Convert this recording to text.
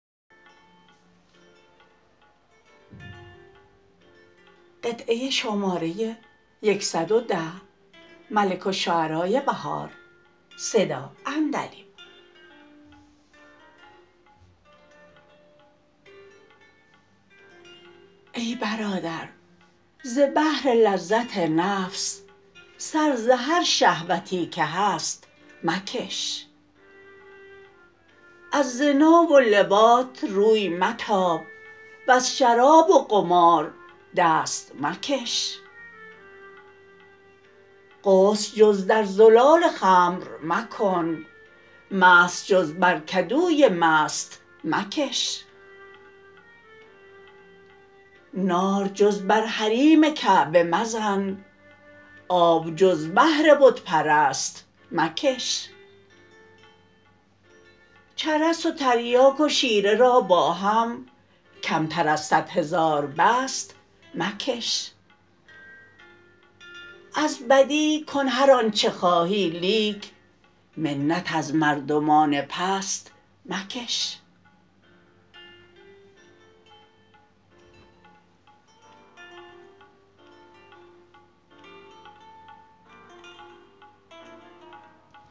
ای برادر ز بهر لذت نفس سر ز هر شهوتی که هست مکش از زنا و لواط روی متاب وز شراب و قمار دست مکش غسل جز در زلال خمر مکن مسح جز بر کدوی مست مکش نار جز بر حریم کعبه مزن آب جز بهر بت پرست مکش چرس و تریاک و شیره را با هم کمتر از صد هزار بست مکش از بدی کن هر آنچه خواهی لیک منت از مردمان پست مکش